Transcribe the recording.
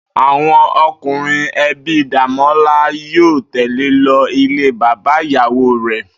Àwo̩n o̩kùnrin e̩bi Démólá yóò tè̩le lo̩ ilé bàbá ìyàwó rè̩